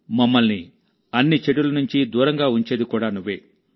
మమ్మల్ని అన్ని చెడుల నుండి దూరంగా ఉంచేది కూడా నువ్వే